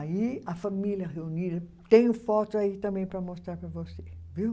Aí, a família reunida, tenho foto aí também para mostrar para você, viu?